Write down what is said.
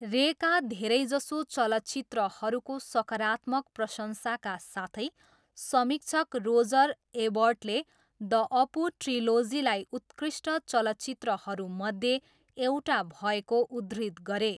रेका धेरैजसो चलचित्रहरूको सकारात्मक प्रशंसाका साथै, समीक्षक रोजर एबर्टले द अपु ट्रिलोजीलाई उत्कृष्ट चलचित्रहरूमध्ये एउटा भएको उद्धृत गरे।